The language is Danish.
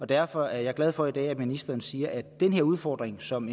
derfor er jeg glad for i dag at ministeren siger at den udfordring som